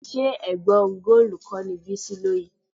Ṣé ẹ̀gbá ọrùn góòlù kọ́ ni Bísí lò yìí?